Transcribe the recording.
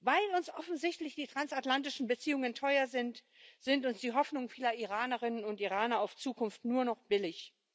Weil uns offensichtlich die transatlantischen Beziehungen teuer sind, sind uns die Hoffnungen vieler Iranerinnen und Iraner auf Zukunft nur noch billig.